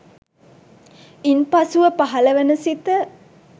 ඉන් පසුව පහළවන සිත